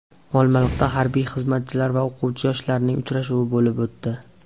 Olmaliqda harbiy xizmatchilar va o‘quvchi-yoshlarning uchrashuvi bo‘lib o‘tdi .